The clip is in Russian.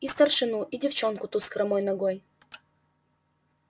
и старшину и девчонку ту с хромой ногой